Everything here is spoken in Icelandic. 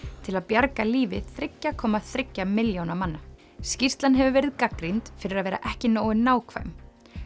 til að bjarga lífi þriggja komma þriggja milljóna manna skýrslan hefur verið gagnrýnd fyrir að vera ekki nógu nákvæm